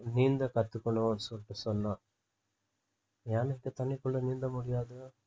நீந்த கத்துக்கணும்ன்னு சொல்லிட்டு சொன்னா யானைக்கு தண்ணிக்குள்ள நீந்தமுடியாது